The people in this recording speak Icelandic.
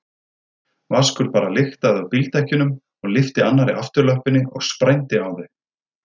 Vaskur bara lyktaði af bíldekkjunum og lyfti annarri afturlöppinni og sprændi á þau.